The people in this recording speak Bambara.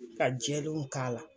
Ka jɛlenw k'a la.